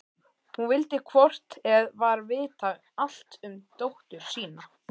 Hún vildi hvort eð var vita allt um dóttur sína.